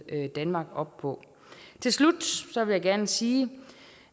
danmark op på til slut vil jeg gerne sige